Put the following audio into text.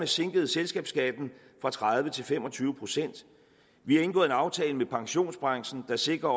sænket selskabsskatten fra tredive til fem og tyve procent vi har indgået en aftale med pensionsbranchen der sikrer